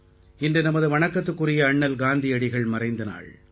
இன்று நமது வணக்கத்துக்குரிய அண்ணல் காந்தியடிகள் மறைந்த நாள்